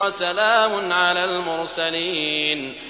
وَسَلَامٌ عَلَى الْمُرْسَلِينَ